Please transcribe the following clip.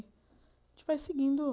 A gente vai seguindo.